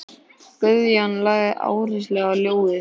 Guðjón lagði áherslu á ljóðin.